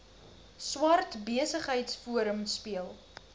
swart besigheidsforum speel